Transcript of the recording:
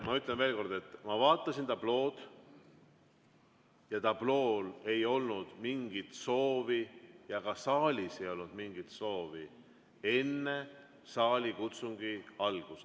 Ma ütlen veel kord, et ma vaatasin tablood ja tablool ei olnud mingit soovi ja ka saalis ei olnud mingit soovi enne saalikutsungi algust.